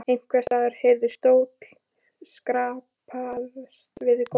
Einhvers staðar heyrðist stóll skrapast við gólf.